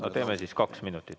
No teeme siis kaks minutit.